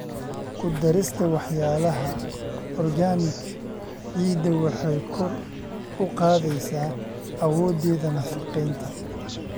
Ku darista walxaha organic ciidda waxay kor u qaadaysaa awoodeeda nafaqeynta.